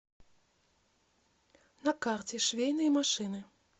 на карте швейные машины